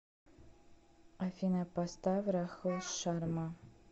афина поставь рахул шарма